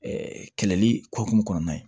kɛlɛli hukumu kɔnɔna na